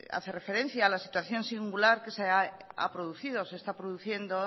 hace referencia a la situación singular que se ha producido se está produciendo